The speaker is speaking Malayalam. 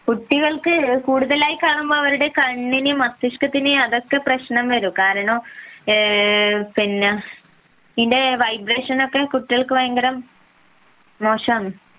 കുട്ടികൾക്ക് കൂടുതലായി കാണുമ്പോ അവരുടെ കണ്ണിനെയും മസ്തിഷകത്തിനും അതൊക്കെ പ്രശ്നം വരും കാരണം ഇതിന്റെ വൈബ്രേഷൻ ഒക്കെ കുട്ടികൾക്ക് ഭയങ്കര മോശമാണ്